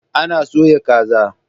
Ana soya kaza.